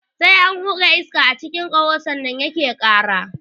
Sai an hura iska a cikin ƙaho sannan yake ƙara.